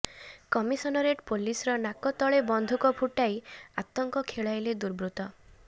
commissionerate ପୋଲିସର ନାକ ତଳେ ବନ୍ଧୁକ ଫୁଟାଇ ଆତଙ୍କ ଖେଳାଇଲେ ଦୁର୍ବୃତ୍ତ